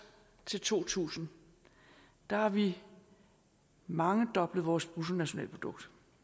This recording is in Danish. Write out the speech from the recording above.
til to tusind har vi mangedoblet vores bruttonationalprodukt